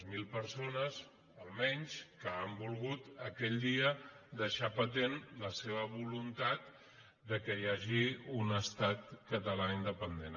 zero persones almenys que han volgut aquell dia deixar patent la seva voluntat que hi hagi un estat català in·dependent